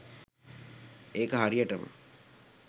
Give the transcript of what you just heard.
ඒක හරියටම